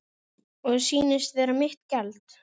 Og sýnist vera mitt gjald.